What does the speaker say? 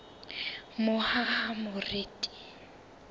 mohahamoriti